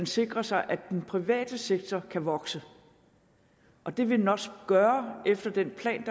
sikre sig at den private sektor kan vokse og det vil den også gøre ifølge den plan